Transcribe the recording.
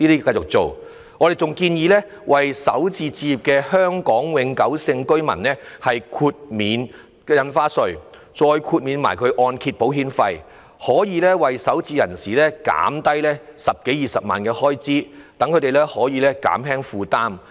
我們還建議，為首次置業的香港永久性居民豁免印花稅及按揭保險費，讓首置人士減省十多二十萬元的開支，減輕負擔。